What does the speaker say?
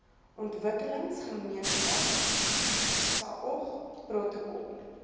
ontwikkelingsgemeenskap saog protokol